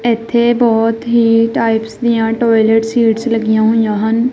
ਇਥੇ ਬਹੁਤ ਹੀ ਟਾਈਪਸ ਦੀਆਂ ਟੋਇਲਟ ਸੀਟ ਲੱਗੀਆਂ ਹੋਈਆਂ ਹਨ।